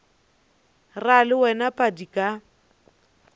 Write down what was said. ra le wena padi ka